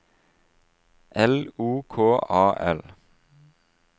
L O K A L